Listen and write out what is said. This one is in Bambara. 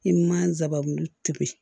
I ma nsaban tobi